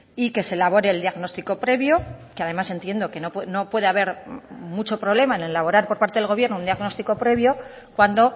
y que se elabore el diagnóstico previo que además entiendo que no puede haber mucho problema en elaborar por parte del gobierno un diagnóstico previo cuando